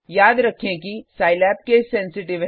याद रखें कि सिलाब केस सेंसिटिव है